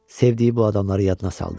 Sevdiği bu adamları yadına saldı.